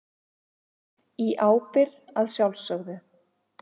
Í ábyrgð að sjálfsögðu.